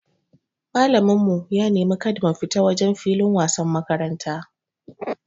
Malamin mu ya neme mu kada mu fita wajen filin wasan makaranta.